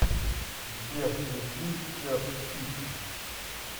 сбер включи чэр сити